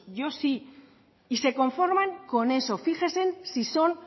yo sí y se conforman con eso fíjese si son